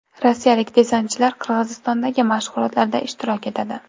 Rossiyalik desantchilar Qirg‘izistondagi mashg‘ulotlarda ishtirok etadi.